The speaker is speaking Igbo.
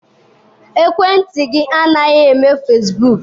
Ekwentị gị a na-eme fesibuuku?